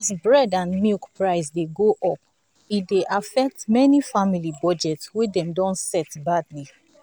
as bread and milk price dey go up e dey affect many family budget wey dem don set badly.